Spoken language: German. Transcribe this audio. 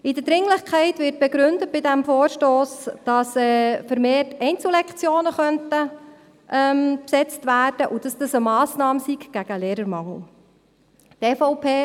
Bei der Dringlichkeit wird bei diesem Vorstoss begründet, dass vermehrt Einzellektionen besetzt werden könnten und dass dies eine Massnahme gegen den Lehrermangel sei.